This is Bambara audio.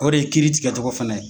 O de ye kiiri tigɛ cogo fana ye.